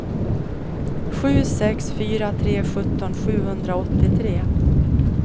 sju sex fyra tre sjutton sjuhundraåttiotre